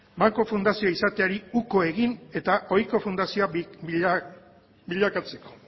banku fundazio izateari uko egin eta ohiko fundazioa bilakatzeko